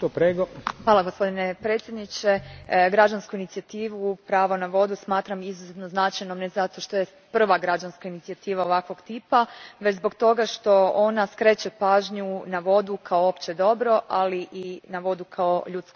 Gospodine predsjedniče, građansku inicijativu Pravo na vodu smatram izuzetno značajnom ne zato što je prva građanska inicijativa ovakvog tipa, već zbog toga što ona skreće pažnju na vodu kao opće dobro, ali i na vodu kao ljudsko pravo.